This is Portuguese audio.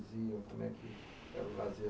iam. Como é que era o lazer